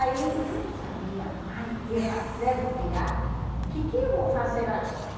Aí eu não sabia mais o que fazer, porque já... O que que eu vou fazer agora?